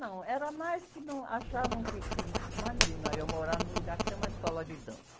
Não, era mais que num, achavam que, que... Imagina eu morar num lugar que tem uma escola de dança.